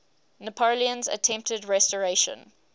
napoleon's attempted restoration